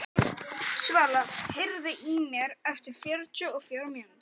Svala, heyrðu í mér eftir fjörutíu og fjórar mínútur.